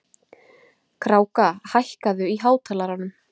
Kráka, hækkaðu í hátalaranum.